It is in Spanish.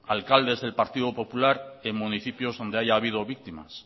alcaldes del partido popular en municipios donde haya habido víctimas